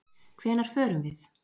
Hvenær förum við?